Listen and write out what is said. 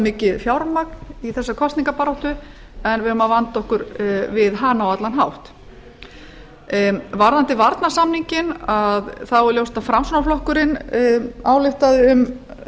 mikið fjármagn í þessa kosningabaráttu en við eigum að vanda okkur við hana á allan hátt varðandi varnarsamninginn er ljóst að framsóknarflokkurinn ályktaði um